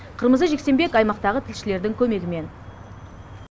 қырмызы жексенбек аймақтағы тілшілердің көмегімен